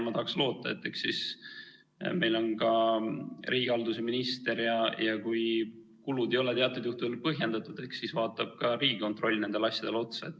Ma tahaks loota sellele, et meil on ka riigihalduse minister, ja kui kulud ei ole teatud juhtudel põhjendatud, siis vaatab ka Riigikontroll nendele asjadele otsa.